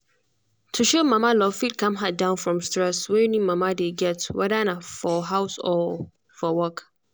to show mama love fit calm her down from stress wey new mama dey getwhether na for house or for work.